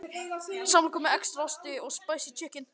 Hann bíður við næsta götuhorn.